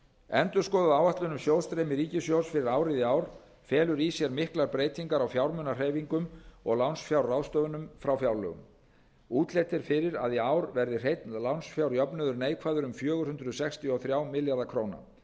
endurskoðuð áætlun um sjóðstreymi ríkissjóðs fyrir árið í ár felur í sér miklar breytingar á fjármunahreyfingum og lánsfjárráðstöfunum frá fjárlögum útlit er fyrir að í ár verði hreinn lánsfjárjöfnuður neikvæður um fjögur hundruð sextíu og þrjá milljarða króna